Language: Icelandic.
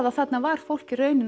og þarna var fólk